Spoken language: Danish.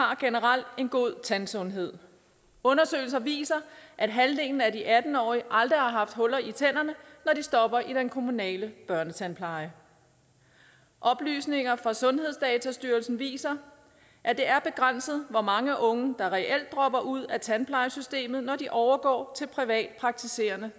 har generelt en god tandsundhed undersøgelser viser at halvdelen af de atten årige aldrig har haft huller i tænderne når de stopper i den kommunale børnetandpleje oplysninger fra sundhedsdatastyrelsen viser at det er begrænset hvor mange unge der reelt dropper ud af tandplejesystemet når de overgår til privat praktiserende